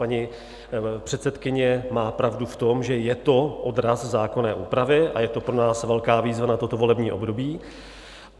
Paní předsedkyně má pravdu v tom, že je to odraz zákonné úpravy, a je to pro nás velká výzva na toto volební období.